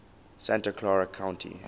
santa clara county